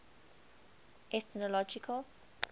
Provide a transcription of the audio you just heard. ethnological